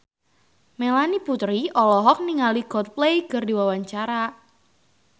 Melanie Putri olohok ningali Coldplay keur diwawancara